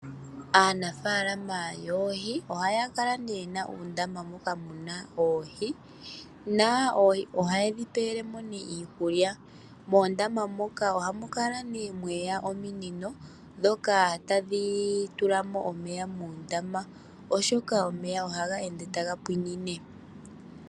Aanafaalama yoohi ohaya kala yena uundama, moka muna oohi na ohaye dhi pele mo iikulya. Moondama moka ohamu kala nee mweya ominino dhoka hadhi tula mo omeya muundama, oshoka omeya ohaga ende taga pwiinine.